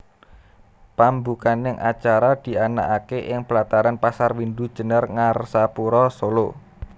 Pambukaning acara dianakake ing plataran Pasar Windu Jenar Ngarsapura Solo